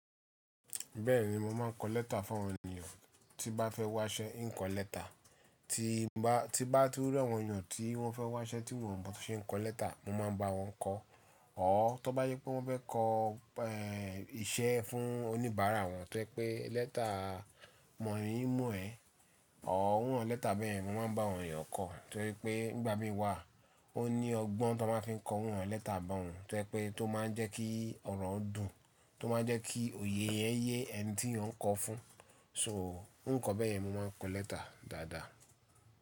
Bẹ́ẹ̀ni, mo máa ń kọ lẹ́tà fún àwọn ènìyàn tí bá fẹ́ wá ṣẹ́, ń kọ lẹ́tà. Tí bá, tí bá dúró, àwọn ènìyàn tí wọ́n fẹ́ wá ṣẹ́ tí wọn ò mọ́ bí wọ́n ṣe ń kọ lẹ́tà, mo máa ń bá wọn kọ. Or tó bá je pé wọ́n fẹ́ kọ, eh, iṣẹ́ fún oníbàárà wọn tó jẹ́ pé lẹ́tà mọ̀ ọ́n, mọ̀ ẹ́, or irú awon lẹ́tà bẹ́yẹ̀n, mo máa ń bá àwọn ènìyàn kọ. Torí pé nígbà mí wà, ó ní ọgbọ́n tan máa ń fi kọ irú awon lẹ́tà bá hun. To je pé tó máa ń jẹ́ kí ọ̀rọ̀ dùn, tó máa ń jẹ́ kí òye yẹn yé ẹni tí yan ń kọ fún. So, nǹkan bẹ́yẹ̀n mo máa ń kọ lẹ́tà dáadáa.